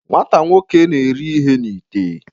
nwata nwoke na-eri ihe n'ite